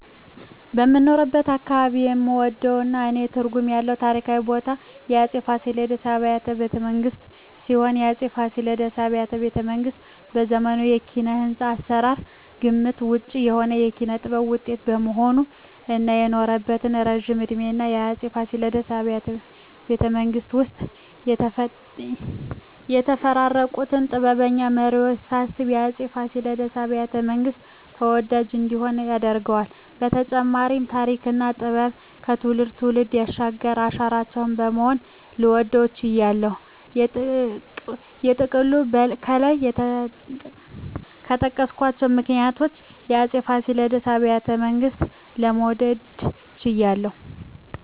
በምኖርበት አካባባቢ የምወደውና ለኔ ትርጉም ያለው ታሪካዊ ቦታ የአፄ ፋሲለደስ አብያተ ቤተመንግስት ሲሆን፣ የአፄ ፋሲለደስ አብያተ ቤተመንግስት በዘመኑ የኪነ-ህንጻ አሰራር ግምት ውጭ የሆነ የጥበብ ውጤት በመሆኑ እና የኖረበት እረጅም እድሜና የአፄ ፋሲለደስ አብያተ ቤተመንግስት ውስጥ የተፈራረቁትን ጥበበኛ መሪወች ሳስብ የአፄ ፋሲለደስ አብያተ- መንግስት ተወዳጅ እንዲሆን ያደርገዋል በተጨማሪም ተሪክና ጥበብን ከትውልድ ትውልድ ያሸጋገረ አሻራችን በመሆኑ ልወደው ችያለሁ። በጥቅሉ ከላይ በጠቀስኳቸው ምክንያቶች የአፄ ፋሲለደስ አብያተ ቤተመንግስትን ለመውደድ ችያለሁ